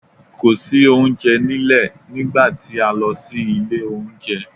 Kò sí oúnjẹ nílẹ̀ nígbà tí a lọ sí ilé oúnjẹ.